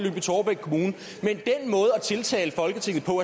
tiltale folketinget på